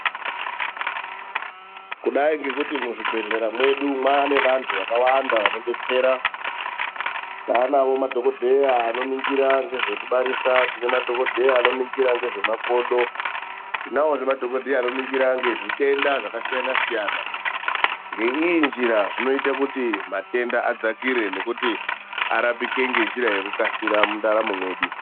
Kudai ngekuti muzvibhedhlera mwedu mwaane vantu vakawanda vanodetsera. Taanawo madhokodheya vanoningira ngezvekubarisa. Tine madhogodheya anoningira ngezvemakodo. Tinawozve madhogodheya anoningira ngezvitenda zvakasiyana-siyana. Ngeiyi njira, zvinoita kuti matenda adzakire nekuti arapike ngenjira yekukasira mundaramo mwedu.